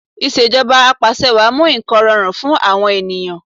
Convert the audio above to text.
Ìṣèjọba Apàṣẹwàá mú nǹkan rọrùn fún àwọn ènìyàn